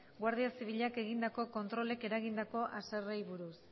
guardia zibilak egindako kontrolek eragindako haserreari buruz